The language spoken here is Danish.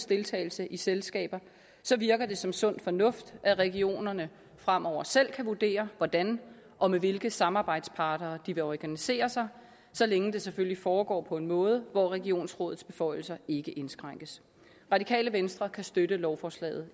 deltage i selskaber virker det som sund fornuft at regionerne fremover selv kan vurdere hvordan og med hvilke samarbejdspartnere de vil organisere sig så længe det selvfølgelig foregår på en måde hvor regionsrådets beføjelser ikke indskrænkes radikale venstre kan støtte lovforslaget